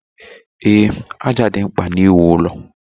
Ee, ájá dị mkpa n'iwu ụlọ.